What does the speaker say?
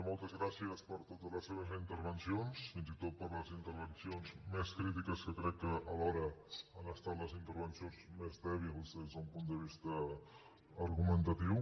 moltes gràcies per totes les seves intervencions fins i tot per les intervencions més crítiques que crec que alhora han estat les intervencions més dèbils des d’un punt de vista argumentatiu